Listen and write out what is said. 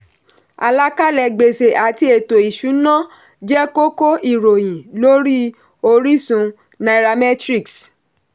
àlàkàlẹ̀ gbèsè àti ètò-ìṣúnà jẹ́ kókó ìròyìn lórí orísun nairametrics.